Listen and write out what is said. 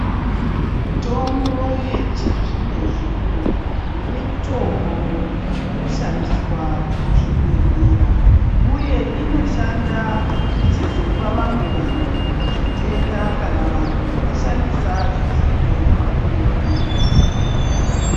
Mitombo yechizvino zvino Mitombo inoshandiswa kuzvibhedhlera uye inoshanda ichizopa vamwe vanhu zvitenda kana vantu vashandisa zvisizvo zvavanenge vabhuirwa kuchibhedhlera.